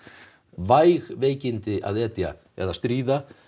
væg veikindi að etja eða stríða